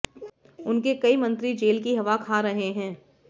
उनके कई मंत्री जेल की हवा खा रहे हैं